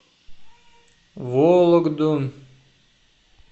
вологду